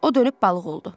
O dönüb balıq oldu.